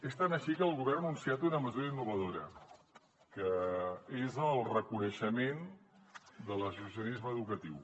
és tant així que el govern ha anunciat una mesura innovadora que és el reconeixement de l’associacionisme educatiu